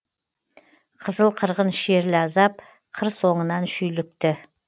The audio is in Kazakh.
қызыл қырғын шерлі азап қыр соңынан шүйлікті